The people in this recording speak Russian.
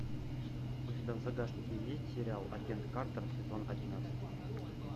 у тебя в загашнике есть сериал агент картер сезон одиннадцать